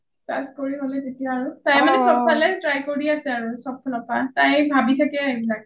class কৰি হলে তেতিয়া আৰু তাই মানে চব ফালে try কৰি আছে আৰু চব ফালৰ পৰা তাই ভাবি থাকে এইবিলাক